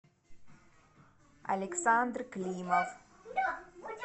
александр климов